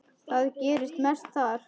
Það gerist mest þar.